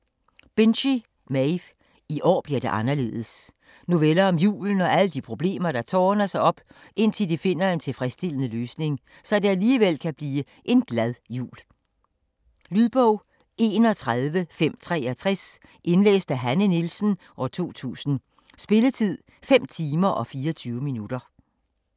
Binchy, Maeve: I år bliver det anderledes Noveller om julen og alle de problemer der tårner sig op, indtil de finder en tilfredsstillende løsning, så det alligevel kan blive en glad jul. Lydbog 31563 Indlæst af Hanne Nielsen, 2000. Spilletid: 5 timer, 24 minutter.